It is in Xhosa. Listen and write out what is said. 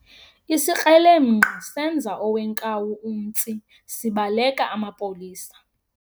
Isikrelemnqa senza owenkawu umtsi sibaleka amapolisa